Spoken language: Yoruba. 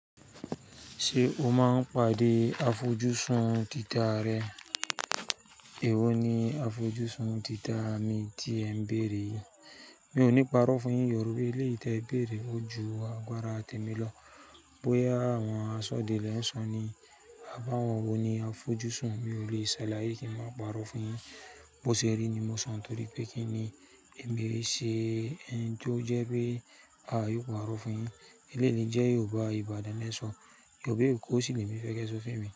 Ṣé o máa ń pàdé afọjúsùn títà rẹ? Èwo ni afọjúsùn títà mi tí ẹ ń bèèrè yìí. Mi ò ní parọ́ fún-un yin yọ̀rúbẹ́. Eléyìí tí ẹ bèèrè ó ju agbára tèmi lọ. Bóyá àwọn aṣọ́delẹ̀ ń sọ ni, "Àbáwọ́n wo ni afọjúsùn?" Mi ò lè ṣàlàyé kí ń má parọ́ fún yin. Bo ṣe rí ni mo sọ, nítorí pé kí ni èmi e ṣe ẹni tó jẹ́ pé a yóò parọ́ fún un? Eléyìí le jẹ́ Yorùbá Ìbàdàn le sọ. Yorùbá Èkó sì lè ní ìfẹ́ kí ẹ sọ fún emi.